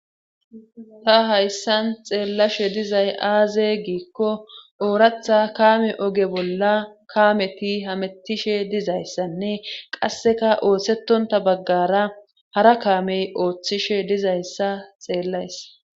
ta hayssan xeellashe dizay aaze giikko ooratha kaame oge bolla kaameti hamettishe dizayssanne qasseka oosetonta baggara hara kaamey ooththishe dizayssa xeellaysa